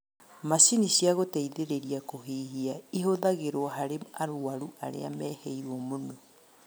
Macini cia gũteithĩrĩria kũhihia ihũthagĩrwo harĩ arwaru arĩa mehĩrwo mũno